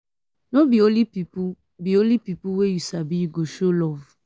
no be only pipu be only pipu wey you sabi you go show love.